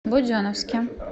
буденновске